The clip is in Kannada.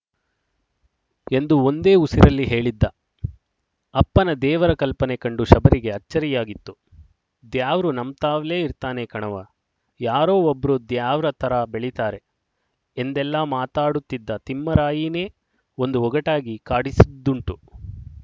ಎಂದು ಒಂದೇ ಉಸಿರಲ್ಲಿ ಹೇಳಿದ್ದ ಅಪ್ಪನ ದೇವರ ಕಲ್ಪನೆ ಕಂಡು ಶಬರಿಗೆ ಅಚ್ಚರಿಯಾಗಿತ್ತು ದ್ಯಾವ್ರು ನಮ್ತಾವ್ಲೆ ಇರ್ತಾನೆ ಕಣವ್ವ ಯಾರೊ ಒಬ್ರು ದ್ಯಾವ್ರ್ ತರಾ ಬೆಳೀತಾರೆ ಎಂದೆಲ್ಲಾ ಮಾತಾಡುತ್ತಿದ್ದ ತಿಮ್ಮರಾಯೀನೆ ಒಂದು ಒಗಟಾಗಿ ಕಾಡಿಸಿದ್ದುಂಟು